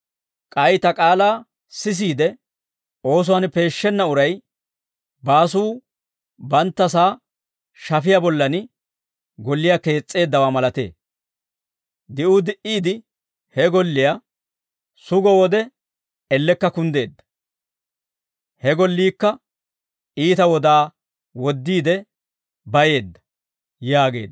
K'ay Ta k'aalaa sisiide oosuwaan peeshshenna uray baasuu banttasaa shafiyaa bollan golliyaa kees's'eeddawaa malatee. Di'uu di"iide he golliyaa sugo wode elekka kunddeedda; he golliikka iita wodaa woddiide bayeedda» yaageedda.